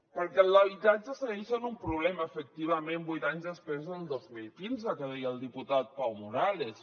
perquè l’habitatge segueix sent un problema efectivament vuit anys després del dos mil quinze que deia el diputat pau morales